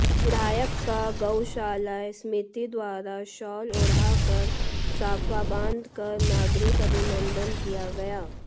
विधायक का गौशाला समिति द्वारा शॉल ओढ़ाकर साफा बांधकर नागरिक अभिनंदन किया गया